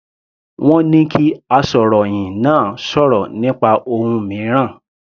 Wọ́n ní kí asọ̀rọ̀hìn náà sọ̀rọ̀ nípa ohun mìíràn.